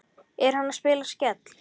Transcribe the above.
Er hann að spila Skell?